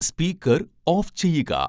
speaker off ചെയ്യുക